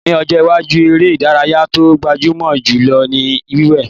Ní ọjọ́ iwájú, eré ìdárayá tó gbajúmọ̀ jù lọ ni yíwèé